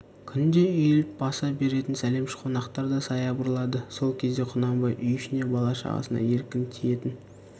күнде үйіліп баса беретін сәлемші қонақтар да саябырлады сол кезде құнанбай үй ішіне бала-шағасына еркін тиетін